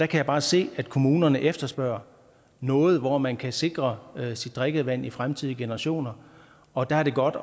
kan bare se at kommunerne efterspørger noget hvor man kan sikre sit drikkevand for fremtidige generationer og der er det godt